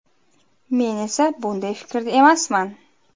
Men esa bunday fikrda emasman.